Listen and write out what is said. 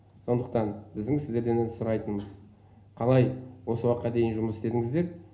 сондықтан біздің сіздерден сұрайтынымыз қалай осы уақытқа дейін жұмыс істедіңіздер